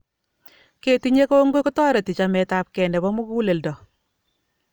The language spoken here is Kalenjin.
Ketinyei kongoi kotoreti chametapkei nepo muguleldo